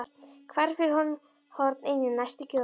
Hvarf fyrir horn inn í næstu götu.